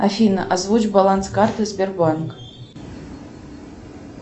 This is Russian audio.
афина озвучь баланс карты сбербанк